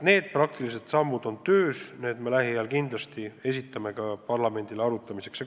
Need praktilised sammud on töös ja lähiajal me kindlasti esitame oma ettepanekud parlamendile arutamiseks.